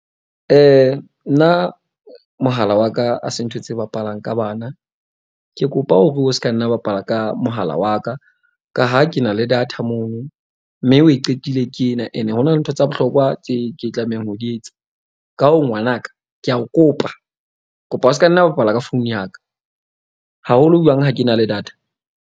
Nna mohala wa ka a se ntho tse bapalang ka bana, ke kopa o re o ska, nna o bapala ka mohala wa ka. Ka ha ke na le data mono mme wi qetile ke ena and ho na le ntho tsa bohlokwa tse ke tlamehang ho di etsa. Ka ho ngwanaka, ke a o kopa. Ke kopa o seka nna bapala ka phone ya ka haholo jwang ha ke na le data.